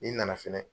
N'i nana fɛnɛ